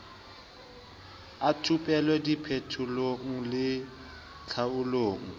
a thupelo diphetolelong le tlhaolong